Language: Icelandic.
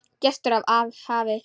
Gestur af hafi